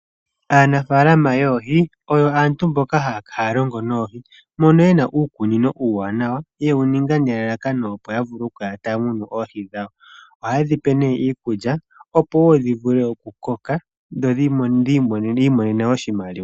Aanafaalama yoohi oyo aantu mboka haya longo noohi, mono yena uukunino uuwanawa ye wu ninga nelalakano opo ya kale taya munu oohi dhawo, oha yedhi pe nee iikulya opo woo dhi vule oku koka, yo yiimonene woo oshimaliwa.